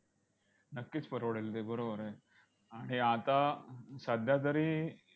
नक्कीच परवडेल ते, बरोबर आहे. आणि आता सध्यातरी